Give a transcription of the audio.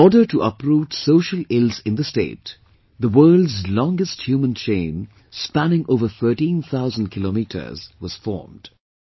In order to uproot social ills in the state, the world's longest human chain spanning over thirteen thousand kilometers was formed